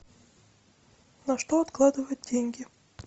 на что откладывать деньги